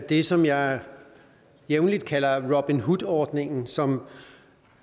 det som jeg jævnlig kalder robin hood ordningen som